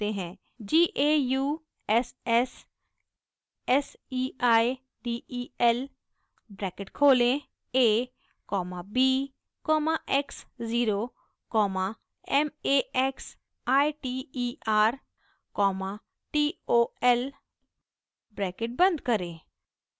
g a u s s s e i d e l bracket खोलें a comma b comma x zero comma m a x i t e r comma t o l bracket बंद करें